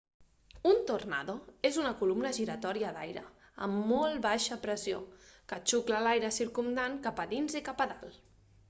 un tornado és una columna giratòria d'aire a molt baixa pressió que xucla l'aire circumdant cap a dins i cap a dalt